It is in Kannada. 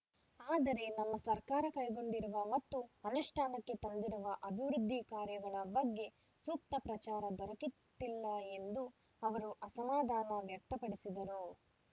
ಆದರೆ ನಮ್ಮ ಸರ್ಕಾರ ಕೈಗೊಂಡಿರುವ ಮತ್ತು ಅನುಷ್ಠಾನಕ್ಕೆ ತಂದಿರುವ ಅಭಿವೃದ್ಧಿ ಕಾರ್ಯಗಳ ಬಗ್ಗೆ ಸೂಕ್ತ ಪ್ರಚಾರ ದೊರಕಿತ್ತಿಲ್ಲ ಎಂದು ಅವರು ಅಸಮಾಧಾನ ವ್ಯಕ್ತಪಡಿಸಿದರು